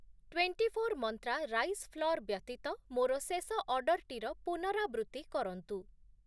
Twenty four Mantra rice flour ବ୍ୟତୀତ ମୋର ଶେଷ ଅର୍ଡ଼ର୍‌ଟିର ପୁନରାବୃତ୍ତି କରନ୍ତୁ ।